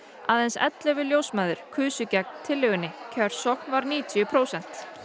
aðeins ellefu ljósmæður kusu gegn tillögunni kjörsókn var níutíu prósent